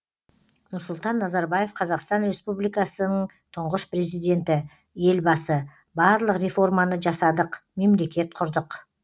нұрсұлтан назарбаев қазақстан республикасының тұңғыш президенті елбасы барлық реформаны жасадық мемлекет құрдық